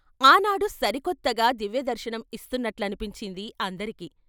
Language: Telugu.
ఆ నాడు సరికొత్తగా దివ్యదర్శనం ఇస్తున్నట్లనిపించింది అందరికీ.